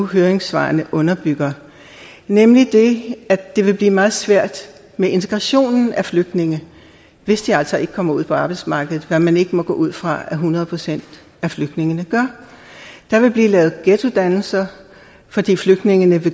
høringssvarene nu underbygger nemlig det at det vil blive meget svært med integrationen af flygtninge hvis de altså ikke kommer ud på arbejdsmarkedet hvad man ikke må gå ud fra at hundrede procent af flygtningene gør der vil blive lavet ghettodannelser fordi flygtningene